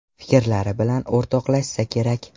Fikrlari bilan o‘rtoqlashsa kerak?